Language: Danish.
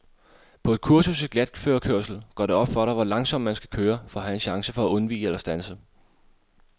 På et kursus i glatførekørsel går det op for dig, hvor langsomt man skal køre, for at have en chance for at undvige eller standse.